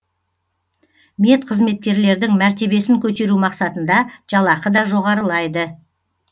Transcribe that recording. медқызметкерлердің мәртебесін көтеру мақсатында жалақы да жоғарылайды